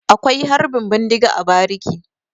Akwai Harbin bindiga a bariki.